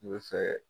N bɛ fɛ